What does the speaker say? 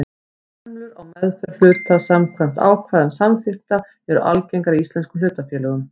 Hömlur á meðferð hluta samkvæmt ákvæðum samþykkta eru algengar í íslenskum hlutafélögum.